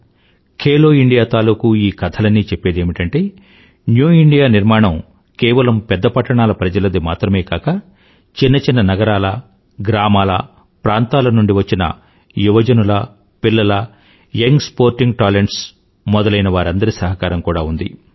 Khelo India తాలూకూ ఈ కథలన్నీ చెప్పేదేమిటంటే న్యూ ఇండియా నిర్మాణం కేవలం పెద్ద పట్టణాల ప్రజలది మాత్రమే కాక చిన్న చిన్న నగరాల గ్రామాల ప్రాంతాల నుండి వచ్చిన యువజనుల పిల్లల యంగ్ స్పోర్టింగ్ talentsమొదలైనవారందరి సహకారం కూడా ఉంది